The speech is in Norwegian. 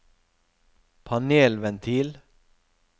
panelventil